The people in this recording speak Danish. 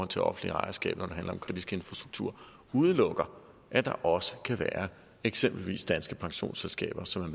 til offentligt ejerskab når det handler om kritisk infrastruktur udelukker at der også kan være eksempelvis danske pensionsselskaber som